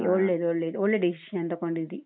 ಒಳ್ಳೇದು ಒಳ್ಳೇದು ಒಳ್ಳ್ಳೇ decision ತೊಗೊಂಡಿದ್ದಿ.